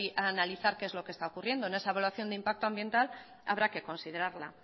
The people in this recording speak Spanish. a analizar qué es lo que está ocurriendo en esa evaluación de impacto ambiental habrá que considerarla